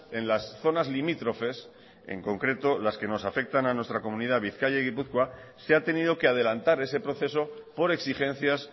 en las zonas limítrofes en concreto las que nos afectan a nuestra comunidad bizkaia y gipuzkoa se ha tenido que adelantar ese proceso por exigencias